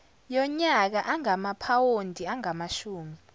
yonyaka ingamaphawondi angamashumi